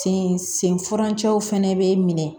Sen sen furancɛw fɛnɛ bee minɛ